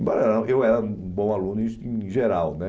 Embora eu era um bom aluno em em geral, né?